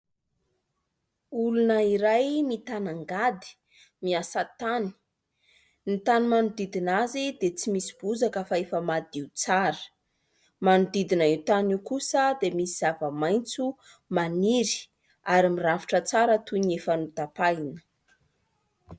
Olona iray mitana angady miasa tany. Ny tany manodidina azy dia tsy misy bozaka fa efa madio tsara. Manodidina io tany io kosa dia misy zava-maitso maniry ary mirafitra tsara toy ny efa notapahina.